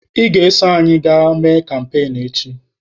Ị ga-eso anyị gaa mee kampain echi!